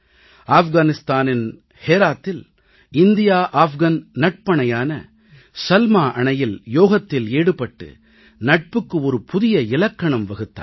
ஆஃப்கனிஸ்தானின் ஹேராத்தில் India Afghan நட்பணையான சல்மா அணையில் யோகத்தில் ஈடுபட்டு நட்புக்கு ஒரு புதிய இலக்கணம் வகுத்தார்கள்